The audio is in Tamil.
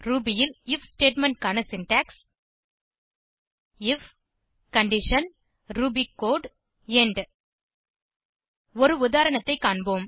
ரூபி ல் ஐஎஃப் ஸ்டேட்மெண்ட் க்கான syntax if condition Ruby code end ஒரு உதாரணத்தைக் காண்போம்